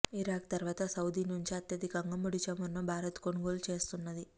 Iraq తర్వాత Saudi నుంచే అత్యధికంగా ముడి చమురును భారత్ కొనుగోలు చేస్తున్నది